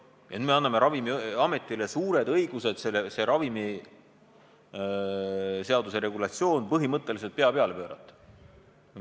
Ja nüüd anname Ravimiametile suured õigused see ravimiseaduse regulatsioon põhimõtteliselt pea peale pöörata.